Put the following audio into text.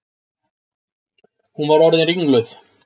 Hún var orðin ringluð.